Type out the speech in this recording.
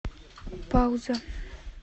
пауза